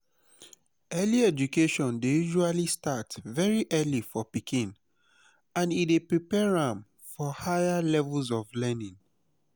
early education dey usually start very early for pikin and e dey prepare am for higher levels pf learning